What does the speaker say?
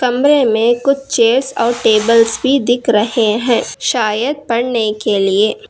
कमरे में कुछ चेयर्स और टेबल्स भी दिख रहे हैं शायद पढ़ने के लिए।